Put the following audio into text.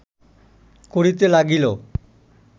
করিতে লাগিল